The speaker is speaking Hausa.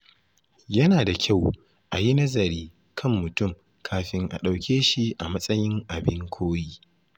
Yana da kyau a yi nazari kan mutum kafin a ɗauke shi a matsayin abin koyi.